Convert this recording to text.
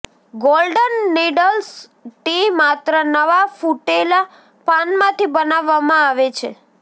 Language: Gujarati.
ગોલ્ડન નીડલ્સ ટી માત્ર નવા ફુટેલા પાનમાંથી બનાવવામાં આવે છે